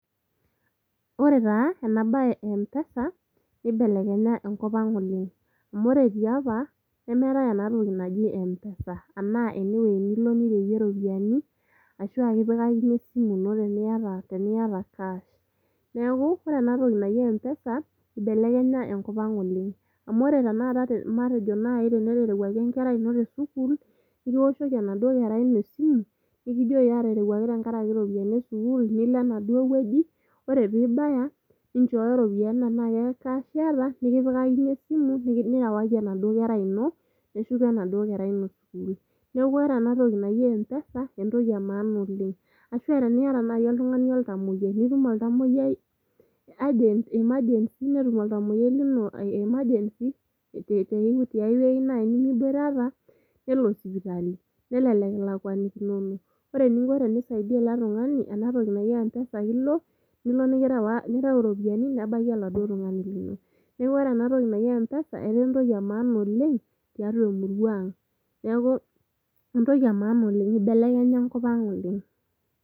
ore taa ena baye e mpesa nibelekenya enkop ang oleng amu ore tiapa nemeetae enatoki naji mpesa anaa enewueji nilo nireyie iropiyiani ashu kipikakini esimu ino teniyata cash niaku ore enatoki naji mpesa ibelekenya enkopoleng amu ore tenakata matejo naaji teneterewuaki enkerai ino tesukul nikiwoshoki enaduo kerai ino esimu nikijoki aterewuaki tenkarake iropiyiani esukul nilo enaduo wueji ore piibaya ninchooyo iropiyiani tenaa ke cash iyata nikipikakini esimu nirewaki enaduo kera ino neshuko enaduo kera ino sukul neeku ore enatoki naji mpesa entoki e maana oleng ashua teniata naaji oltung'ani oltamoyiai nitum oltamoyiai urgent emergency netum oltamoyiai lino emergency tiae wueji naaji nemiboitata nelo sipitali nelelek ilakuanikinono ore eninko tenisaidia ele tung'ani enatoki naji mpesa ake ilo nilo nirew irropiyiani nebaiki oladuo tung'ani lino neeeku ore enatoki naji mpesa etaa entoki e maana oleng tiatua emurua ang niaku entoki e maana oleng ibelekenya enkop ang oleng.